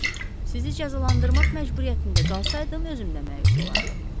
Sizi cəzalandırmaq məcburiyyətində qalsaydım özüm də məyus olardım.